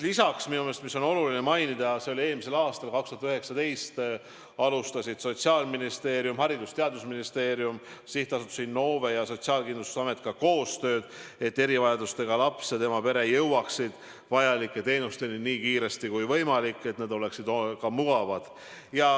Lisaks on minu meelest oluline mainida seda, et eelmisel, 2019. aastal alustasid Sotsiaalministeerium, Haridus- ja Teadusministeerium, SA Innove ja Sotsiaalkindlustusamet koostööd, et erivajadustega laps ja tema pere jõuaksid vajalike teenusteni võimalikult kiiresti ning et need teenused oleksid ka mugavad.